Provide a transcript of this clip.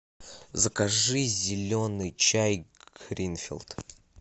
закажи зеленый чай гринфилд